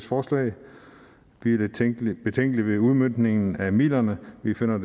forslag vi er betænkelige betænkelige ved udmøntningen af midlerne vi finder